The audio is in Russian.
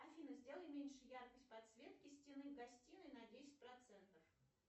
афина сделай меньше яркость подсветки стены гостиной на десять процентов